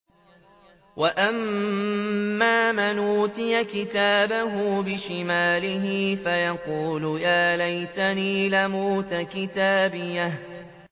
وَأَمَّا مَنْ أُوتِيَ كِتَابَهُ بِشِمَالِهِ فَيَقُولُ يَا لَيْتَنِي لَمْ أُوتَ كِتَابِيَهْ